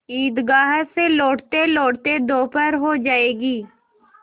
ईदगाह से लौटतेलौटते दोपहर हो जाएगी